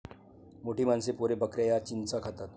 मोठी माणसे, पोरे, बकऱ्या या चिंचा खातात.